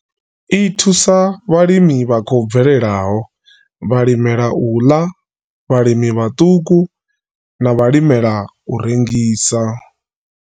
I thusa vhalimi vha khou bvelelaho, vhalimela u ḽa, vhalimi vhaṱuku na vhalimela u rengisa.